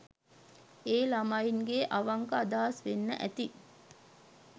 ඒ ළමයින්ගෙ අවංක අදහස් වෙන්න ඇති.